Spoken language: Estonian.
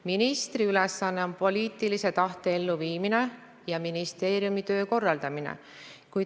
Ministri ülesanne on poliitilise tahte elluviimine ja ministeeriumi töö korraldamine.